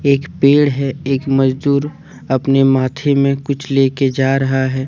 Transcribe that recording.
एक पेड़ है एक मजदूर अपने माथे में कुछ लेकर जा रहा है।